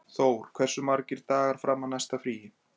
Þór, hversu margir dagar fram að næsta fríi?